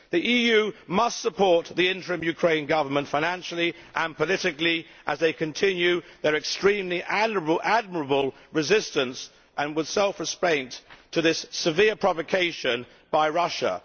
The EU must support the interim Ukraine Government financially and politically as it continues its extremely admirable resistance, with self restraint, to this severe provocation by Russia.